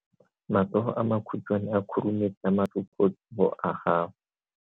Matsogo a makhutshwane a khurumetsa masufutsogo a gago.